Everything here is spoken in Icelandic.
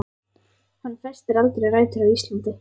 Hann festir aldrei rætur á Íslandi.